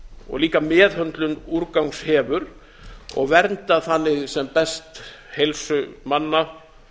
og líka meðhöndlun úrgangs hefur og vernda þannig sem best heilsu manna